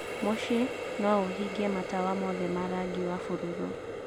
Mũciĩ no ũhingie matawa mothe ma rangi wa bururu